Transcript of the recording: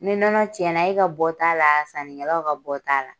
Ni nɔnɔ cɛn na e ka bɔ t'a la sannikɛlaw ka bɔ t'a la.